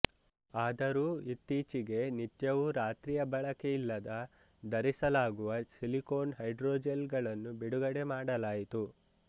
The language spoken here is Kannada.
ಆದರೂ ಇತ್ತೀಚೆಗೆ ನಿತ್ಯವೂರಾತ್ರಿಯ ಬಳಕೆಯಿಲ್ಲದ ಧರಿಸಲಾಗುವ ಸಿಲಿಕೋನ್ ಹೈಡ್ರೋಜೆಲ್ ಗಳನ್ನು ಬಿಡುಗಡೆ ಮಾಡಲಾಯಿತು